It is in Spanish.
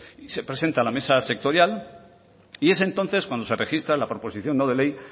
y se presenta a la mesa sectorial es entonces cuando se registra la proposición no de ley